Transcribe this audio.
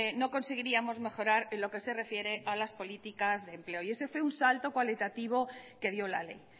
no conseguiríamos mejorar en lo que se refiere a las políticas de empleo y ese fue un salto cualitativo que dio la ley